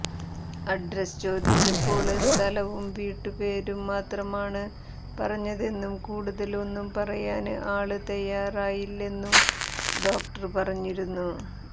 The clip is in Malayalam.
അഡ്രസ് ചോദിച്ചപ്പോള് സ്ഥലവും വീട്ടു പേരും മാത്രമാണ് പറഞ്ഞതെന്നും കൂടുതല് ഒന്നും പറയാന് അയാള് തയ്യാറായില്ലെന്നും ഡോക്ടര് പറഞ്ഞിരുന്നു